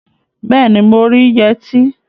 Bẹẹni, mo rí yẹtí